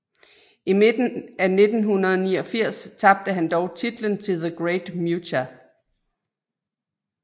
I midten af 1989 tabte han dog titlen til The Great Muta